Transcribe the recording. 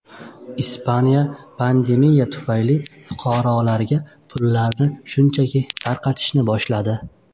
Ispaniya pandemiya tufayli fuqarolarga pullarni shunchaki tarqatishni boshladi.